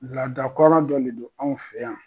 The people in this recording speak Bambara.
Laada kɔrɔ dɔ le don anw fɛ yan